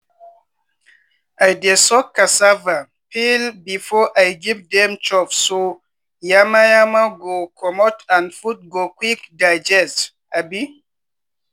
i dey soak cassava peel before i give dem chop so yama yama go comot and food go quick digest um